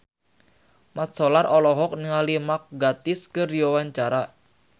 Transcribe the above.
Mat Solar olohok ningali Mark Gatiss keur diwawancara